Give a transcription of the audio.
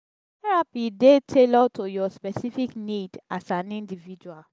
therapy dey tailored to your specific need as an individual